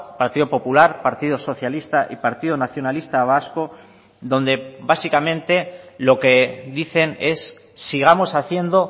partido popular partido socialista y partido nacionalista vasco donde básicamente lo que dicen es sigamos haciendo